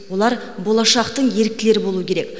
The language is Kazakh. олар болашақтың еріктілері болу керек